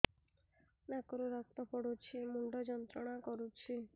ନାକ ରୁ ରକ୍ତ ପଡ଼ୁଛି ମୁଣ୍ଡ ଯନ୍ତ୍ରଣା କରୁଛି